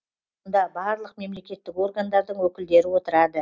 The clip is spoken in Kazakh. мұнда барлық мемлекеттік органдардың өкілдері отырады